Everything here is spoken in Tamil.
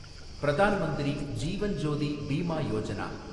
பிரதான் மந்திரி ஜீவன் ஜோதி பீமா யோஜனா